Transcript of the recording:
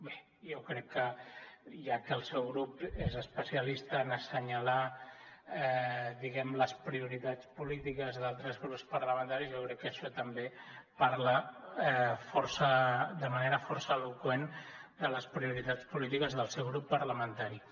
bé jo crec que ja que el seu grup és especialista en assenyalar diguem ne les prioritats polítiques d’altres grups parlamentaris jo crec que això també parla de manera força eloqüent de les prioritats polítiques del seu grup parlamentari